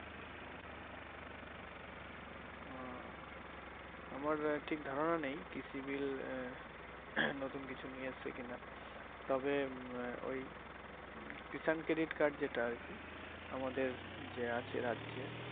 ও আমার ঠিক ধারনা নেই কৃষি বিল আহ নতুন কিছু নিয়ে এসেছে কিনা তবে উম ওই Kishan Credit Card যেটা আরকি আমাদের যে আছে রাজ্যে